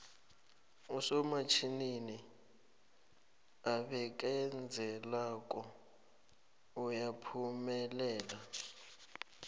usomatjhinini obekezelako uyaphumelela